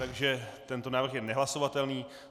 Takže tento návrh je nehlasovatelný.